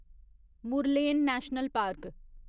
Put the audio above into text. Murlen national park